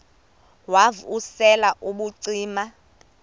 wav usel ubucima